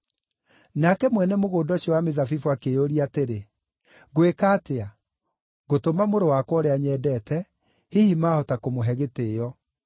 “Nake mwene mũgũnda ũcio wa mĩthabibũ akĩĩyũria atĩrĩ, ‘Ngwĩka atĩa? Ngũtũma mũrũ wakwa, ũrĩa nyendete; hihi mahota kũmũhe gĩtĩĩo’.